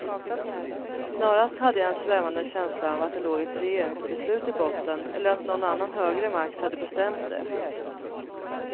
Snarast hade jag en svävande känsla av att det låg ett regeringsbeslut i botten eller att någon annan högre makt hade bestämt det.